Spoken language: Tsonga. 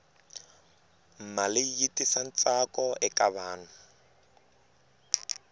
mali yi tisa ntsakoeka vanhu